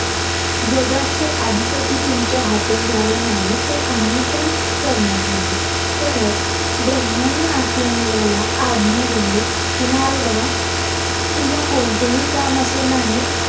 जगाचे अधिपती तुमच्या हातून झाले नाही तर आम्ही पण करणार नाही परत ब्रम्हाणी आपल्या मुलाला आज्ञा दिली कि नारदा तुला कोणतेही काम असे नाही